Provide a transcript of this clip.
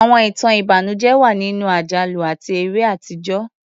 Àwọn ìtàn ìbànújẹ́ wà nínú àjálù àti eré àtijọ́.